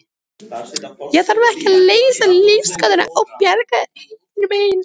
Ég þarf ekki að leysa lífsgátuna og bjarga heiminum ein.